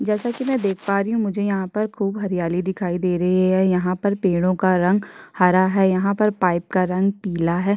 जैसा कि मैं देख पा रहा हूं मुझे यहाँ पर मुझे खूब हरियाली दिखाई दे रही है यहाँ पर पेड़ों का रंग आ रहा है यहाँ पर पाइप का रंग पीला है।